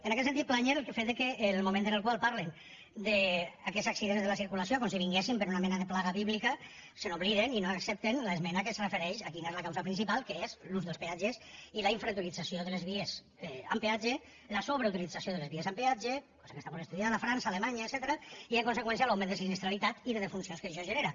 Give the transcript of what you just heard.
en aquest sentit plànyer el fet que el moment en el qual parlen d’aquests accidents de la circulació com si vinguessin per una mena de plaga bíblica se n’obliden i no accepten l’esmena que es refereix a quina és la causa principal que és l’ús dels peatges i la sobreutilització de les vies en peatge cosa que està molt estudiada a frança a alemanya etcètera i en conseqüència l’augment de sinistralitat i de defuncions que això genera